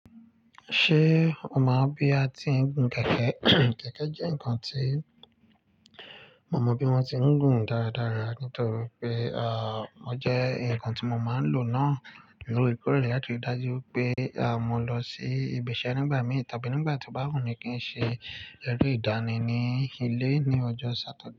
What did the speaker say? Ṣé o mọ̀ bí a ti ń gún kẹ̀kẹ́? Kẹ̀kẹ́ jẹ́ nǹkan tí mo mọ bí wọ́n ti ń gùn dáradára nítorí pé, à, ọ jẹ́ ǹkan tí mo máa ń lò náà lórèekórèe láti dájú pé, à, mò ń lọ sí ibi iṣẹ́ nígbà mí tàbí nígbà tí ó bá wù mí kí n ṣe ẹrú ìdánì ní ilé ní ọjọ́ Satade.